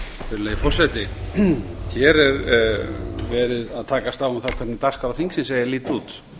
virðulegi forseti hér er verið að takast á um það hvernig dagskrá þingsins eigi að líta út